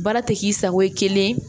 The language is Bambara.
Baara tɛ k'i sago ye kelen